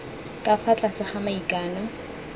ka fa tlase ga maikano